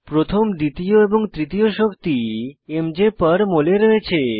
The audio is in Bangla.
প্রথম দ্বিতীয় এবং তৃতীয় শক্তি mjমল এ রয়েছে